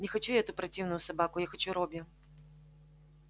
не хочу я эту противную собаку я хочу робби